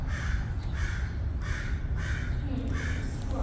ହୁଁ କୁହ